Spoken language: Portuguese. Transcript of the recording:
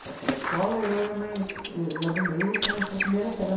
Para a pré-escola, eu e a mais e e a do meio, fomos para a primeira série.